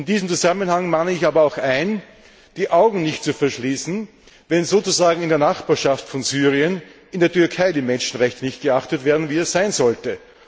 In diesem Zusammenhang mahne ich aber auch an, die Augen nicht zu verschließen, wenn sozusagen in der Nachbarschaft von Syrien in der Türkei die Menschenrechte nicht so geachtet werden, wie es sein sollte.